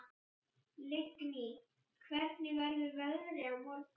Lingný, hvernig verður veðrið á morgun?